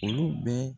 Olu bɛ